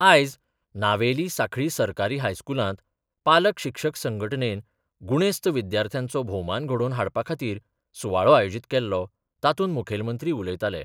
आयज नावेली सांखळी सरकारी हायस्कुलांत पालक शिक्षक संघटणेन गुणेस्त विद्यार्थ्यांचो भोवमान घडोवन हाडपा खातीर सुवाळो आयोजीत केल्लो तातूंत मुखेलमंत्री उलयताले.